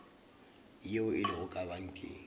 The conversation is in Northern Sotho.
yeo e lego ka pankeng